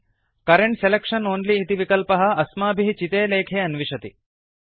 current selection only इति विकल्पः अस्माभिः चिते लेखे अन्विषति